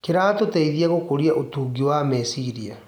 Kĩratũteithia gũkũria ũtungi wa meciria.